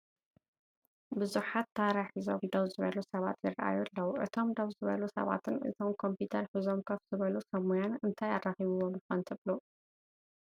ብዙሓት ታራ ሒዞም ደው ዝበሉ ሰባት ይራኣዩ ኣለው፡፡ እቶም ደው ዝበሉ ሰባትን እቶም ኮምፒተር ሒዞም ከፍ ዝበሉ ሰብ ሞያን እንታይ ኣራኺብዎም ይኾን ትብሉ?